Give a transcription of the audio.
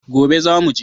Gobe zamu je